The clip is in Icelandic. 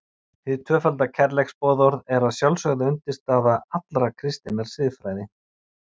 Hið tvöfalda kærleiksboðorð er að sjálfsögðu undirstaða allrar kristinnar siðfræði.